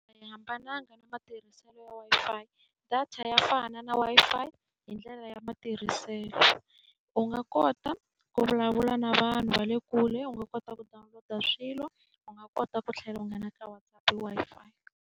A yi hambananga na matirhiselo ya Wi-Fi. Data ya fana na Wi-Fi hi ndlela ya matirhiselo. U nga kota ku vulavula na vanhu va le kule, u nga kota ku download-a swilo, u nga kota ku tlhela u nghena ka WhatsApp hi Wi-Fi.